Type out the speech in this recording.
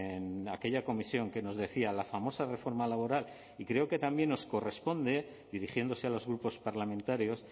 en aquella comisión que nos decía la famosa reforma laboral y creo que también nos corresponde dirigiéndose a los grupos parlamentarios